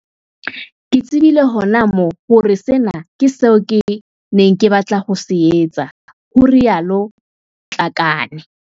"Ke tse bile hona moo hore sena ke seo ke neng ke batla ho se etsa," ho ile ha rialo Matlakane.